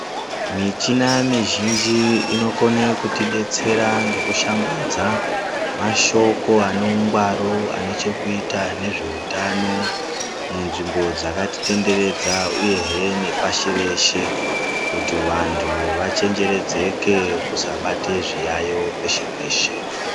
Michina mizhinji inokona kuti detsera ngekushambadza mashoko ane hungwaru anechekuita nezveutano munzvimbo dzakatitenderedza uyehe nepashi reshe kutivantu vachenjeredzeke kusabata zviyaiyo peshe-peshe.